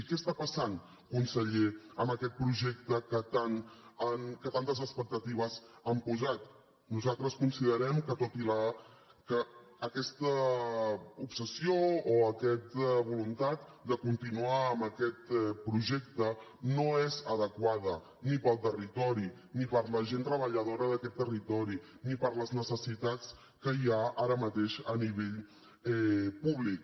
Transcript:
què està passant conseller amb aquest projecte en què tantes expectatives han posat nosaltres considerem que aquesta obsessió o aquesta voluntat de continuar amb aquest projecte no és adequada ni per al territori ni per a la gent treballadora d’aquest territori ni per a les necessitats que hi ha ara mateix a nivell públic